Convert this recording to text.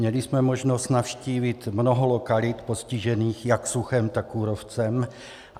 Měli jsme možnost navštívit mnoho lokalit postižených jak suchem, tak kůrovcem.